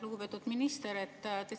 Lugupeetud minister!